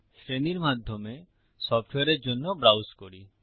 শ্রেণীর মাধ্যমে সফ্টওয়্যারের জন্য ব্রাউজ করি